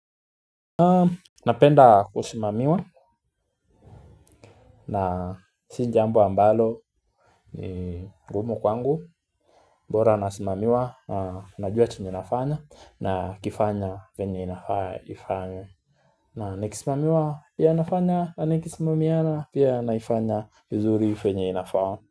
Napenda kusimamiwa na si jambo ambalo ni gumu kwangu bora nasimamiwa na najua chenye nafanya na kifanya venye inafaa ifanywe na nikisimamiwa pia nafanya na nikisimamiana pia naifanya vuzuri venye inafaa.